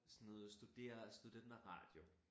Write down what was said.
Sådan noget studere studenterradio